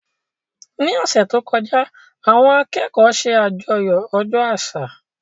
Ní ọ̀sẹ̀ tó kọjá, àwọn akẹ́kọ̀ọ́ ṣe àjọyọ̀ ọjọ́ àṣà